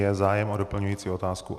Je zájem o doplňující otázku?